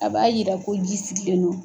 A b'a jira ko ji sigilenlen don.